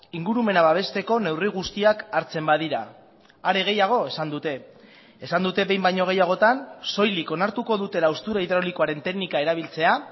ingurumena babesteko neurri guztiak hartzen badira are gehiago esan dute esan dute behin baino gehiagotan soilik onartuko dutela haustura hidraulikoaren teknika erabiltzea